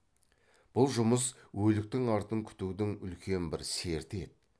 бұл жұмыс өліктің артын күтудің үлкен бір серті еді